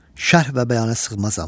Şərh və bəyana sığmazam.